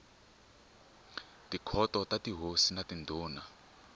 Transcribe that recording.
tikhoto ta tihosi na tindhuna